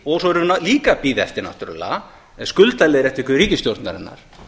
og svo erum við líka að bíða eftir náttúrlega skuldaleiðréttingu ríkisstjórnarinnar